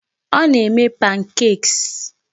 Ọ na-eme pancakes.